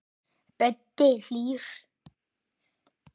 Böddi er hlýr.